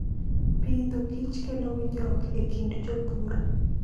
Pidho kich kelo winjruok e kind jopur.